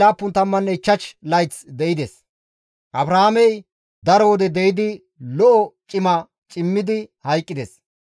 Abrahaamey daro wode de7idi lo7o cima cimmidi hayqqides.